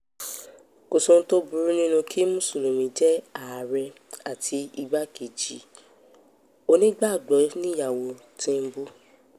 kò sóhun tó burú nínú kí mùsùlùmí jẹ́ ààrẹ àti igbákejì onígbàgbọ́ níyàwó tìǹbù